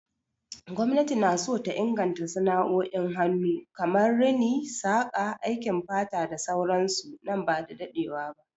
Gwamnati na so ta inganta sana'o'in hannu kamar Rini, saƙa, aikin fata da sauran su nan ba da dadewa ba.